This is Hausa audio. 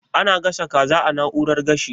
Ana gasa kaza a na'urar gashi?